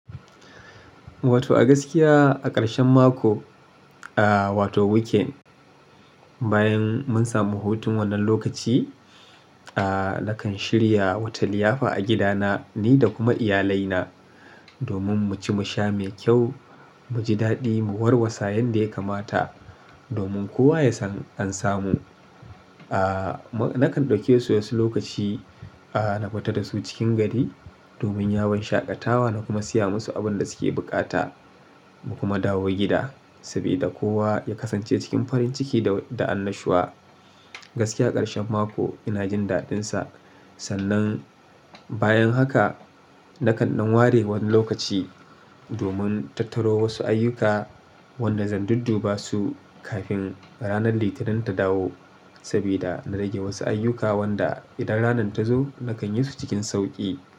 Wato a gaskiya a ƙarshen mako, ah wato weekend, bayan mun samu hutun wannan lokaci, ah nakan shirya wata liyafa a gidana ni da kuma iyalaina domin mu ci musha mai kyau, mu ji daɗi, mu warwasa yanda ya kamata domin kowa ya san an samu. Ah nakan ɗauke su wasu lokaci ah na fita da su cikin gari domin yawon shaƙatawa na kuma siya musu abun da suke buƙata mu kuma dawo gida saboda kowa ya kasance cikin farin ciki da, da annashuwa. Gaskiya ƙarshen mako ina jin daɗinsa. Sannan bayan haka nakan ɗan ware wani lokaci domin tattaro wasu ayyuka wanda zan dudduba su kafin ranar Litinin ta dawo sabida na rage wasu ayyuka wanda idan ranar ta zo nakan yi su cikin sauƙi.